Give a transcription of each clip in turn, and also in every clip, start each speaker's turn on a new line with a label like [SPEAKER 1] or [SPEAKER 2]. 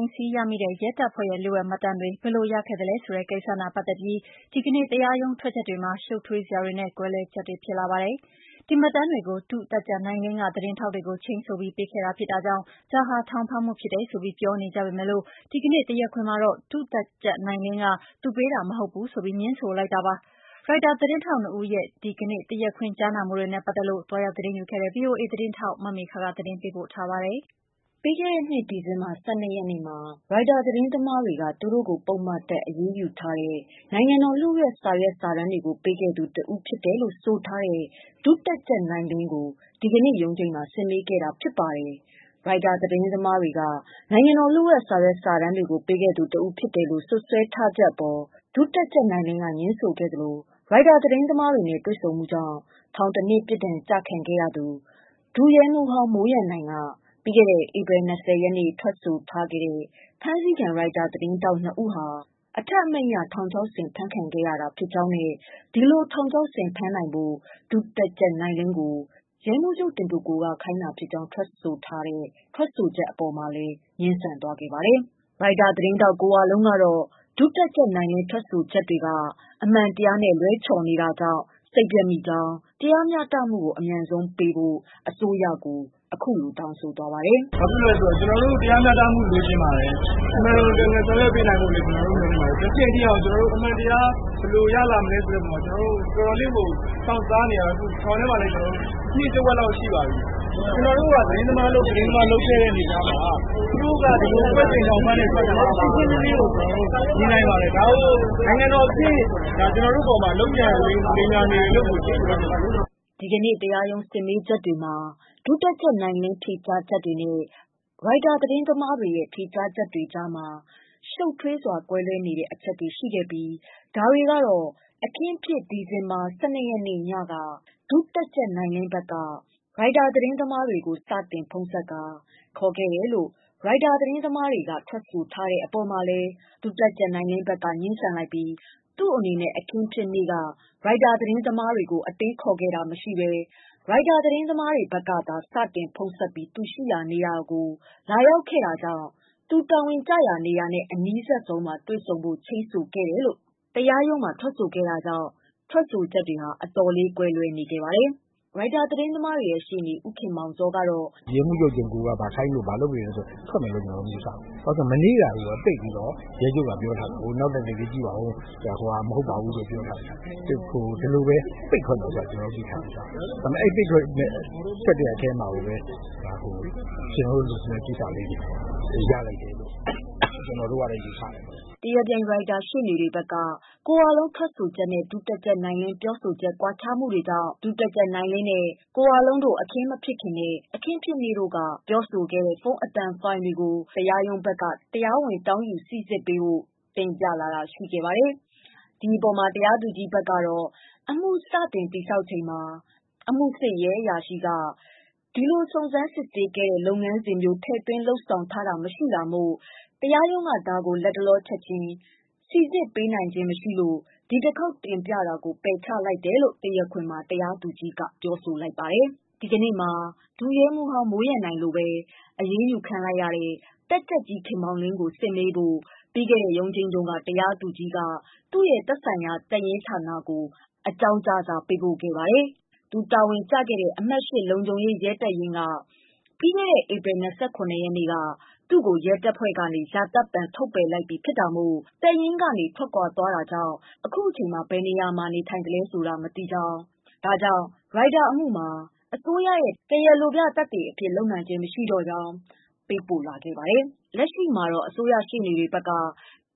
[SPEAKER 1] မ်းဆည်းရမိတဲ့ ရဲတပ်ဖွဲ့ရဲ့ လျှို့ဝှက်မှတ်တမ်းတွေ ဘယ်လိုရလဲဆိုတဲ့ ကိစ္စနဲ့ပတ်သက်ပြီး ဒီနေ့တရားရုံးထွက်ချက်တွေမှာ ရှုပ်ထွေးစရာတွေနဲ့ ကွဲလွဲချက်တွေဖြစ်လာပါတယ်။ ဒီမှတ်တမ်းတွေကို ဒု တပ်ကြပ်နိုင်လင်းက သတင်းထောက်တွေကို ချိန်းဆိုပြီး ပေးခဲ့တာဖြစ်တာကြောင့် ဒါဟာ ထောင်ဖမ်းမှုဖြစ်တယ် ဆိုပြီး ပြောနေကြပေမယ့်၊ ဒီနေ့ တရားခွင်မှာတော့ ဒုတပ်ကြပ်နိုင်လင်းက သူပေးတာမဟုတ်ဘူးဆိုပြီး ငြင်းဆိုလိုက်တာပါ။ ရိုက်တာသတင်းထောက်နှစ်ဦးရဲ့ တရားခွင် ဒီနေ့ ကြားနာမှုတွေနဲ့ပတ်သက်လို့ သွားရောက်သတင်းယူခဲ့တဲ့ ဗွီအိုအေ သတင်းထောက် မမေခက သတင်းပေးပို့ထားပါတယ်။ ပြီးခဲ့တဲ့နှစ် ဒီဇင်ဘာည ၁၂ရက်နေ့မှာ ရိုက်တာသတင်းသမားတွေကသူတို့ကို ပုဒ်မတပ် အရေးယူထားတဲ့ နိုင်ငံတော် လျို့ဝှက် စာရွက် စာတမ်းတွေကို ပေးခဲ့သူ တဦးဖြစ်တယ်လို့ ဆိုထားတဲ့ ဒုတပ်ကြပ် နိုင်လင်းကို ဒီကနေ့ ရုံးချိန်းမှာ စစ်မေးခဲ့ တာဖြစ်ပါ တယ်။ ရိုက်တာသတင်းသမားတွေ က နိုင်ငံတော် လျို့ဝှက် စာရွက် စာတမ်းတွေကို ပေးခဲ့သူ တဦးဖြစ်တယ်လို့ စွပ်စွဲထား ချက် အပေါ် ဒုတပ်ကြပ် နိုင်လင်းက ငြင်းဆိုခဲ့သလို ရိုက်တာသတင်းသမားတွေနဲ့ တွေ့ဆုံမှူကြောင့် ထောင် ၁နှစ် ပြစ်ဒဏ် ကျခံရသူ ဒုရဲမှူးဟောင်း မိုးရန်နိုင်က ပြီးခဲ့တဲ့ ဧပြီလ ၂၀ ရက်နေ့ ထွက်ဆိုခဲ့တဲ့ ဖမ်းဆီခံထားရတဲ့ Reuters သတင်းထောက် ၂ ဦးဟာ အထက်အမိန့်အရ ထောင်ချောက်ဆင်ဖမ်းဆီးခဲ့ရကြောင်းနဲ့ ဒီလိုဖမ်းဆီးနိုင်ဖို့ ဒုတပ်ကြပ် နိုင်လင်း ကို ရဲမှူးချုပ်တင်ကိုကိုက ခိုင်းတာဖြစ်ကြောင်းထွက်ဆိုချက်အပေါ်မှာလည်း ငြင်းဆိုသွားခဲ့ပါတယ်။ ရိုက်တာသတင်းထောက်ကို ဝလုံးကတော့ ဒုတပ်ကြပ် နိုင်လင်းထွက်ဆိုချက်တွေက အမှန်တရားနဲ့ လွဲချော်နေတာ ကြောင့် စိတ်ပျက်မိကြောင်း၊ တရားမျှတမှူကို အမြန်ဆုံးပေးဖို့ အစိုးရကိုတောင်းဆိုလိုက်ပါတယ်။ " ဘာဖြစ်လို့လဲဆိုတော့ ကျနော်တို့တရားမျှတမှူလိုချင်ပါတယ်။ မှန်မှန်ကန်ကန် ဆောင်ရွက်ပေးနိုင်ဖို့မျှော်လင့်ပါတယ်။ အခုအချိန်အထိ အမှန်တရားဘယ်လိုရလာမလဲဆိုတာကို စောင့်စားနေရတာ ထောင်ထဲမှာလဲ နှစ်တဝက်လောက်ရှိနေပါပြီ။ ကျနော်တို့က သတင်းသမားအလုပ် သတင်းသမားလုပ်ခဲ့တဲ့ အနေအထားမှာ သူတို့က အကွက်ဆင်ထောင်ဖမ်းတယ်ဆိုတာ ကျနော်တို့ ရှင်းရှင်းလင်းလင်းမြင်နိုင် ပါတယ်။ နိုင်ငံတော်အဆင့် ကျနော်တို့အပေါ် လုပ်ကြံလိမ်ညာနေတယ်လို့ဘဲ ကျနော်တို့မြင်ပါတယ်။" ဒီကနေ့တရားရုံးစစ်မေးချက်မှာ ဒုတပ်ကြပ် နိုင်လင်းဖြေကြားချက်တွေနဲ့ ရိုက်တာသတင်းသမားတွေ ဖြေကြားချက်တွေကြားမှာ ရှူပ်ထွေးစွာ ကွဲလွဲနေတဲ့အချက်တွေရှိခဲ့ပြီး ဒါတွေကတော့ ဒုတပ်ကြပ်နိုင်လင်းက အခင်းဖြစ် ဒီဇင်ဘာ ၁၂ရက်နေ့မှာ ဒုတပ်ကြပ်နိုင်လင်းဘက်က ရိုက်တာသတင်း သမားတွေကို စတင် ဖုန်းဆက်ကာ ခေါ်ခဲ့တယ်လို့ ရိုက်တာသတင်းသမားတွေဘက်က ထွက်ဆိုထားကိုလည်း ဒုတပ်ကြပ်နိုင်လင်းကငြင်းဆန် လိုက်ပြီး သူ့အနေနဲ့ အခင်းဖြစ်နေ့က ရိုက်တာသတင်းသမားတွေကို အတင်းခေါ်တာမရှိဘဲ ရိုက်တာ ဘက်ကသာ စတင် ဖုန်းဆက်ပြီး သူရှိရာကို လာရောက်ခဲ့ကြောင့် သူတာဝန် ကျရာနေရာနဲ့အနီးစပ်ဆုံး မှာ ချိန်းခဲ့တယ်လို့ ထွက်ဆိုခဲ့တာကြောင့် ထွက်ဆိုချက်တွေက အတော်လေးကွဲလွဲနေပါတယ်။ ရိုက်တာ သတင်းသမားတွေရဲ့ရှေ့နေ ဦးခင်မောင်ဇော်ကတော့ "ရဲမှူးချုပ်တင်ကိုကိုက ဘာခိုင်းလို့ဘာလုပ်တယ်လို့ ထွက်မယ်လို့ ကျနော်မယူဆဘူး။ မနေ့ကပဲ ပိတ်ပြီး ရဲချုပ်ကပြောထားတာကို နောက်သက် သေတွေကြည့်ပါဦးဓ ဟိုဟာမဟုတ်ဘူး ဆိုတာပြောထားတော့ ဒီလိုဘဲပိတ်ထွက်မယ်လို့ ကျနော်တို့သိထားပြီးသားပါ။ အဲလိုပိတ်ထွက်တဲ့ အထဲမှာကိုဘဲ ကျနော်တို့ လိုချင်တဲ့ဟာတွေရလိုက်တယ် လို့ ကျနော်တို့ကတော့ယူဆတယ်။ " တရားပြိုင် ရိုက်တာရှေ့နေတွေဘက်က ကိုဝလုံးထွက်ချက်နဲ့ ဒုတပ်ကြပ်နိုင်လင်းပြောဆိုချက် ကွာခြားနေ တာကြောင့် ဒုတပ်ကြပ်နိုင်လင်းနဲ့ ကိုဝလုံးတို့ အခင်းမဖြစ်ခင်နဲ့ အခင်းဖြစ်နေ့ တို့က ပြောဆိုခဲ့တဲ့ ဖုန်းအသံဖိုင်တွေကို စိစစ်ဖို့ မြန်မာ့ဆက်သွယ်ရေးလုပ်ငန်းက အသံဖိုင်တွေကို တရားရုံးဘက်က တရားဝင် တောင်းယူပေးဖို့ တင်ပြလာ တာရှိခဲ့ပါတယ်။ ဒီအပေါ်တရားသူကြီးက အမှူစတင်တည်ဆောက်ချိန်မှာ အမှူစစ်ရဲအရာရှိက အမှူမှာ ဒီလို စုံစမ်းစစ်ဆေးခဲ့တဲ့ လုပ်ငန်းစဉ် မျိုး ထည့်သွင်းလုပ်ဆောင်ထားတာမရှိခဲ့တာမို့ တရားရုံးက လတ်တလော ချက်ချင်းဒါကို စိစစ်ပေးနိုင်ခြင်းမရှိလို့ ဒီတခေါက် တင်ပြတာကို ပယ်ချလိုက်တယ် လို့ တရားခွင်မှာ တရားသူကြီးကဆိုခဲ့ပါတယ်။ ဒီကနေ့မှာ ဒုရဲအုပ်မှူးဟောင်း မိုးရန်နိုင်လိုဘဲ အရေးယူခံရတဲ့ တပ်ကြပ်ကြီး ခင်မောင်လင်း ကို စစ်မေးဖို့ ပြီးခဲ့တဲ့ ရုံးချိန်းမှာ တရားသူကြီးက သက်ဆိုင်ရာ တပ်ရင်းဌာန ကို အကြောင်းကြားစာပေးပို့ခဲ့ပါတယ်။ သူတာဝန်ကျခဲ့တဲ့ အမှတ် ၈ လုံခြုံရေး ရဲတပ်ရင်းက ပြီးခဲ့တဲ့ ဧပြီ ၂၇ရက်နေ့က သူ့ကို ရဲတပ်ဖွဲ့ကနေ ရာသက်ပန် ထုတ်ပယ်ပြစ်ဒဏ်ပေးခဲ့တာမို့ တပ်ရင်းကထွက်ခွာသွားပြီဖြစ်ကာ အခု အချိန်မှာ ဘယ်နေရာမှာ နေထိုင်လဲဆိုတာမသိတာကြောင့် ရိုက်တာအမှူမှာ အစိုးရရဲ့ တရားလိုပြသက်သေ အဖြစ်လုပ်နိုင်ခြင်းမရှိ တော့ဘူးလို့ စာပေးပို့ပြန်ကြားလာ ခဲ့ပါတယ်။ လက်ရှိမှာ အစိုးရရှေ့နေတွေဘက်က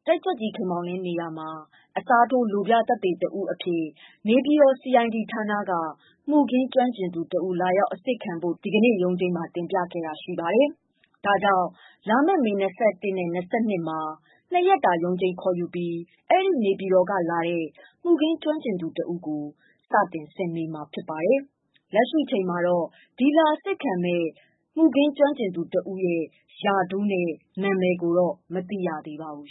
[SPEAKER 1] တပ်ကြပ်ကြီးခင်မောင်လင်းနေရာမှာ အစားထိုးလိုပြသက်သေတဦးအဖြစ် နေပြည်တော် CID ဌာနက မူခင်းကျွမ်းကျင်သူတဦး လာရောက်အစစ်ခံဖို့ တင်ပြလာခဲ့တဲ့အတွက် လာမယ့်မေ ၂၁နဲ့ ၂၂မှာ ၂ရက်တာ ရုံးချိန်းခေါ်ယူထားပြီး အဲဒီနေပြည်တော်ကလာတဲ့ မူခင်းကျွမ်းကျင်သူတဦး ကိုစတင်စစ်မေးမှာပါ။ လက်ရှိအချိန်မှာတော့ လာအစစ်ခံမယ့် သူ ရာထူးနဲ့ နာမည်ကို မသိရသေးပါဘူး